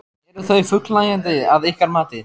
Eru þau fullnægjandi að ykkar mati?